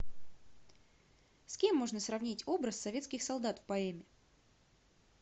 с кем можно сравнить образ советских солдат в поэме